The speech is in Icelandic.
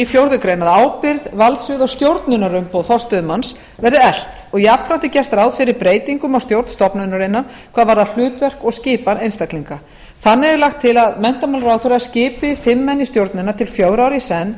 fjórða grein að ábyrgð valdsvið og stjórnunarumboð forstöðumanns verði eflt jafnframt er gert ráð fyrir breytingum á stjórn stofnunarinnar hvað varðar hlutverk og skipan einstaklinga þannig er lagt til að menntamálaráðherra skipi fimm menn í stjórnina til fjögurra ára í senn í